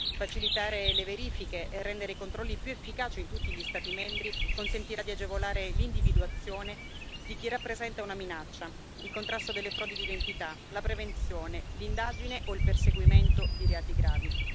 Facilitare le verifiche e rendere i controlli più efficaci in tutti gli Stati membri consentirà di agevolare l'individuazione di chi rappresenta una minaccia, il contrasto delle frodi di identità, la prevenzione, l'indagine o il perseguimento di reati gravi.